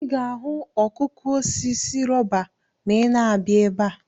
Ị ga-ahụ ihe ọkụkụ osisi rọba ma ịna-abịa ebe a.